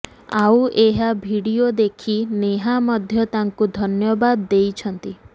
ଆଉ ଏହି ଭିଡିଓ ଦେଖି ନେହା ମଧ୍ୟ ତାଙ୍କୁ ଧନ୍ୟବାଦ ଦେଇଛନ୍ତି